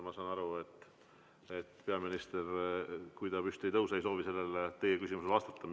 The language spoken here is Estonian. Ma saan aru, et kui peaminister püsti ei tõuse, siis ei soovi ta teie küsimusele vastata.